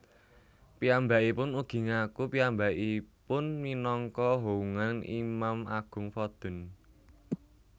Piyambakipun ugi ngaku piyambakiun minangka houngan imam agung vodun